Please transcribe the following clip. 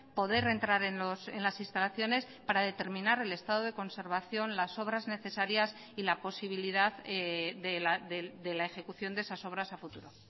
poder entrar en las instalaciones para determinar el estado de conservación las obras necesarias y la posibilidad de la ejecución de esas obras a futuro